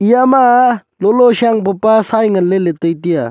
eya ma lolo shang papa sai ngan ley tai tai a.